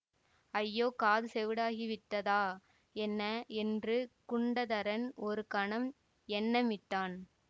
ஐயோ காது செவிடாகி விட்டதா என்ன என்று குண்டதரன் ஒரு கணம் எண்ணமிட்டான்